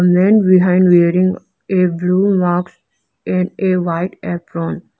man behind wearing a blue mask and a white apron.